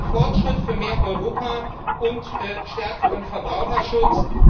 Also ein Fortschritt für mehr Europa und stärkeren Verbraucherschutz.